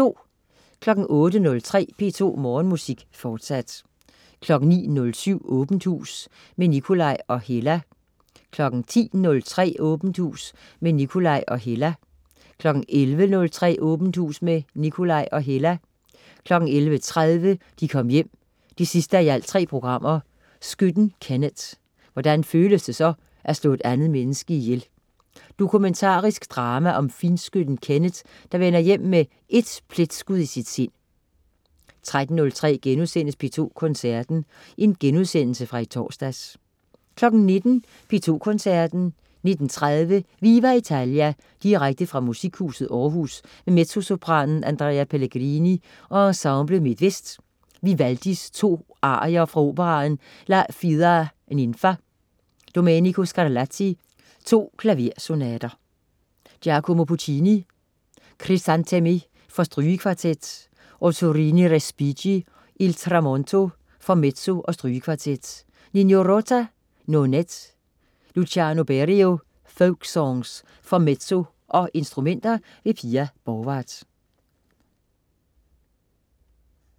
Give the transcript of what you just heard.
08.03 P2 Morgenmusik, fortsat 09.07 Åbent hus med Nikolaj og Hella 10.03 Åbent hus med Nikolaj og Hella 11.03 Åbent hus med Nikolaj og Hella 11.30 De Kom Hjem 3:3. Skytten Kenneth. Hvordan føles det at slå et andet menneske ihjel? Dokumentarisk drama om finskytten Kenneth, der vender hjem med ét pletskud i sit sind 13.03 P2 Koncerten.* Genudsendelse fra i torsdags 19.00 P2 Koncerten. 19.30 Viva Italia, direkte fra Musikhuset Aarhus med mezzosopranen Andrea Pellegrini og Ensemble MidtVest. Vivaldi: To arier fra operaen La Fida Ninfa. Domenico Scarlatti: To klaversonater. Giacomo Puccini: Crisantemi for strygekvartet. Ottorino Respighi: Il tramonto, for mezzo og strygekvartet. Nino Rota: Nonet. Luciano Berio: Folk Songs, for mezzo og instrumenter. Pia Borgwardt